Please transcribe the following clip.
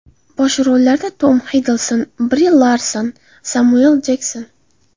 Bosh rollarda Tom Xiddlston, Bri Larson, Semyuel L. Jekson.